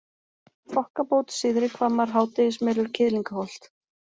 Þokkabót, Syðrihvammar, Hádegismelur, Kiðlingaholt